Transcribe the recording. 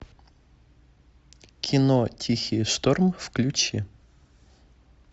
кино тихий шторм включи